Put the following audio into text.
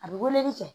A bɛ weleli kɛ